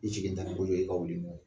I sigilentan ni bolo ye i ka wuli n'o ye